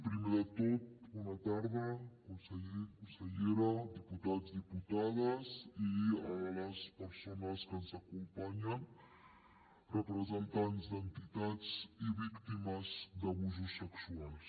primer de tot bona tarda conseller consellera diputats diputades i les persones que ens acompanyen representants d’entitats i víctimes d’abusos sexuals